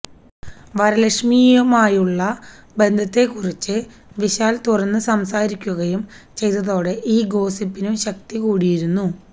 വരലക്ഷ്മിയുമായുള്ള ബന്ധത്തെക്കുറിച്ച് വിശാൽ തുറന്ന് സംസാരിക്കുകയും ചെയ്തതോടെ ഈ ഗോസിപ്പിനും ശക്തി കൂടിയിരുന്നു